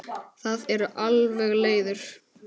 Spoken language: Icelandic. Það eru alveg leiðir.